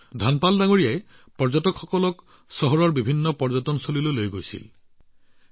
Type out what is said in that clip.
ধনপাল জীয়ে চহৰৰ বিভিন্ন পৰ্যটনস্থলীলৈ পৰ্যটকক লৈ গৈছিল